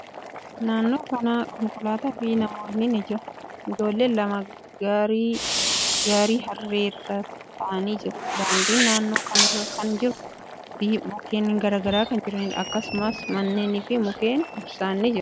Naannoo kana konkolaataa fi namootni ni jiru. Ijoollen lama gaarii harree irra taa'aanii jiru. Daandiin naannoo kana kan jiruu fi mukkeen garagaraa kan jiraniidha. Akkasumas, manneeni fi mukni ibsaa ni jiru.